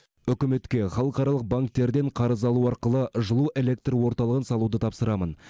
үкіметке халықаралық банктерден қарыз алу арқылы жылу электр орталығын салуды тапсырамын